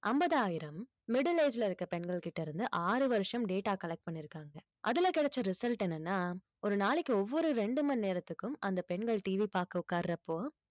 ஐம்பதாயிரம் middle age ல இருக்க பெண்கள்கிட்ட இருந்து ஆறு வருஷம் data collect பண்ணியிருக்காங்க அதுல கிடைச்ச result என்னன்னா ஒரு நாளைக்கு ஒவ்வொரு ரெண்டு மணி நேரத்துக்கும் அந்த பெண்கள் TV பார்க்க உட்காரப்போ